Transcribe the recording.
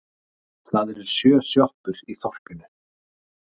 Það eru sjö sjoppur í þorpinu!